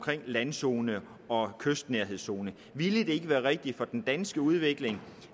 landzone og kystnærhedszone ville det ikke være rigtigt for den danske udvikling